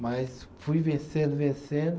Mas fui vencendo, vencendo.